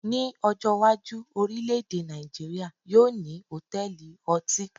Ní ọjọ́ iwájú, orilẹ èdè Nàìjíría yóò ní hotẹẹli ọtí